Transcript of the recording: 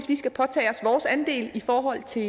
vi skal påtage os vores andel i forhold til